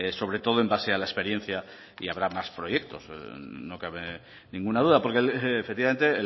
sobre todo en base a la experiencia y habrá más proyectos no cabe ninguna duda porque efectivamente